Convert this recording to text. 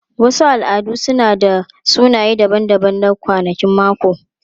Wasu al'adu suna da sunaye daban-daban na kwanakin mako.